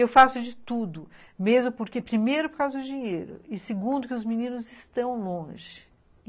Eu faço de tudo, mesmo porque primeiro por causa do dinheiro e segundo que os meninos estão longe.